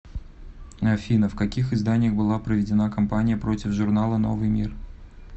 афина в каких изданиях была проведена кампания против журнала новый мир